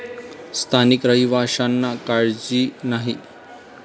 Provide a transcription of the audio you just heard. स्थानिक रहिवाशांना काळजी नाही.